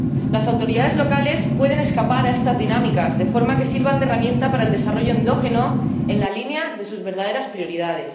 Las autoridades locales pueden escapar a estas dinámicas de forma que sirvan de herramienta para el desarrollo endógeno en la línea de sus verdaderas prioridades.